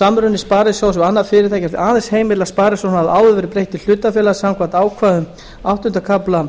samruni sparisjóðs við annað fyrirtæki er því aðeins heimill að sparisjóðnum hafi áður verið breytt í hlutafélag samkvæmt ákvæðum áttunda kafla